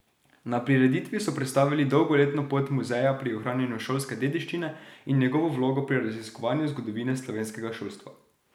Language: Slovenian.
Na prireditvi so predstavili dolgoletno pot muzeja pri ohranjanju šolske dediščine in njegovo vlogo pri raziskovanju zgodovine slovenskega šolstva.